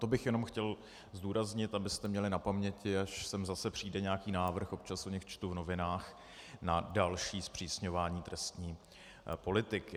To bych jenom chtěl zdůraznit, abyste měli na paměti, až sem zase přijde nějaký návrh, občas o nich čtu v novinách, na další zpřísňování trestní politiky.